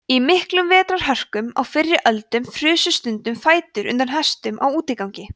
í miklum vetrarhörkum á fyrri öldum frusu stundum fætur undan hestum á útigangi